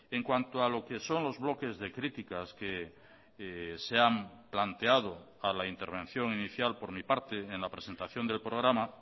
en cuanto a lo que son los bloques de críticas que se han planteado a la intervención inicial por mi parte en la presentación del programa